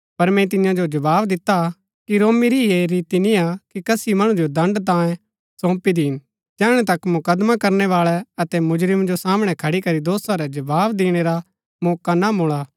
पर मैंई तियां जो जवाव दिता कि रोमी री ऐह रीति निय्आ कि कसी मणु जो दण्ड़ तांयें सौंपी दीन जैहणै तक मुकदमा करनैवाळै अतै मुजरिम जो सामणै खड़ी करी दोषा रै जवाव दिणै रा मौका ना मूळा